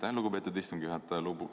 Aitäh, lugupeetud istungi juhataja!